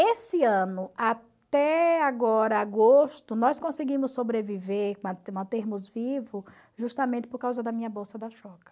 Esse ano, até agora, agosto, nós conseguimos sobreviver, man mantermos vivo, justamente por causa da minha bolsa da